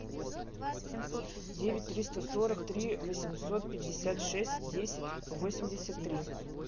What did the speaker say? девять триста сорок три восемьсот пятьдесят шесть десять восемьдесят три